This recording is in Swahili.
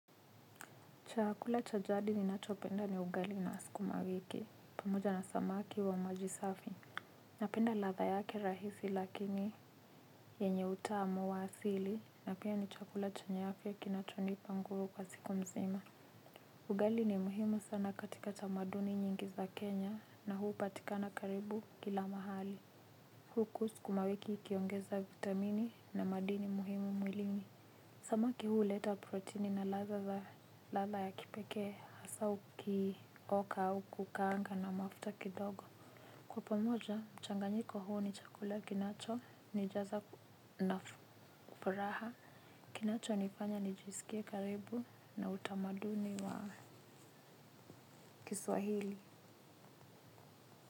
Chakula cha jadi ninachopenda ni ugali na sikuma wiki, pamoja na samaki wa maji safi. Napenda ladha yake rahisi lakini yenye utamu wa asili, na pia ni chakula chenye afya kinachonipa nguvu kwa siku mzima. Ugali ni muhimu sana katika tamaduni nyingi za Kenya na huu hupatikana karibu kila mahali. Huku sukuma wiki ikiongeza vitamini na madini muhimu mwilini. Samaki huleta proteini na ladha ya kipekee hasaa ukioka au kukaanga na mafuta kidogo. Kwa pamoja, mchanganyiko huu ni chakula kinacho nijaza na furaha. Kinacho nifanya nijisikie karibu na utamaduni wa kiswahili.